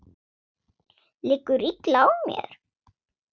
Liggur illa á mér?